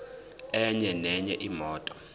enye nenye imoto